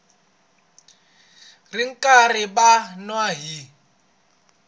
ri karhi va n wi